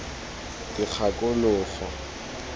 dikgakologo